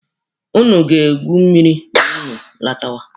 Ụnụ ga-egwu mmiri ma ụnụ lọtawa.